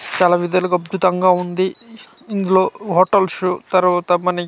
చాలా విధాలుగా అద్బుతంగా ఉంది ఇందులో హోటల్స్ తరవాత మనకి .